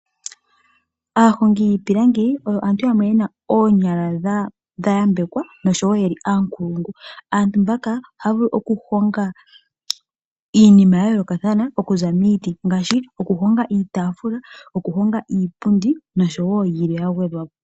Aahongi yiipilangi oyo aantu yamwe yena oonyala dhayambekwa noshowo yeli aampulungu. Aantu mboka ohaya vulu okuhonga iinima ya yoolokathana okuza miiti ngaashi okuhonga iitaafula, okuhonga iipundi noshowo yilwe ya gwedhwapo.